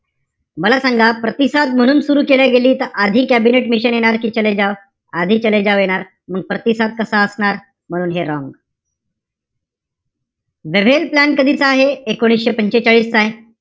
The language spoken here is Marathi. मला सांगा, प्रतिसाद म्हणून सुरु केली गेल्या त आधी कॅबिनेट मिशन प्लॅन येणार कि चले जाव? आधी चले जाव येणार. मग प्रतिसाद कसा असणार? म्हणून हे wrong. वेव्हेल प्लॅन कधीचा आहे? एकोणीशे पंचेचाळीस चाय.